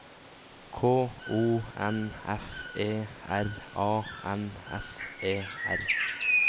K O N F E R A N S E R